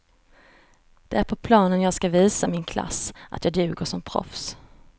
Det är på planen jag ska visa min klass, att jag duger som proffs.